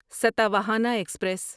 Satavahana express